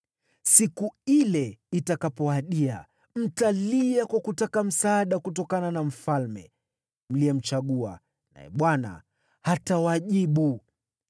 Siku ile itakapowadia, mtalia kwa kutaka msaada kutokana na mfalme mliyemchagua, naye Bwana hatawajibu.”